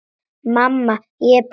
Mamma, ég er búin!